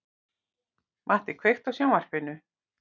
Matti, kveiktu á sjónvarpinu.